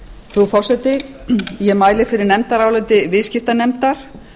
frú forseti ég mæli fyrir nefndaráliti viðskiptanefndar